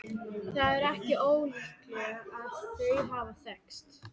Það er ekki ólíklegt að þau hafi þekkst.